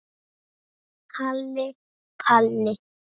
Halli Palli.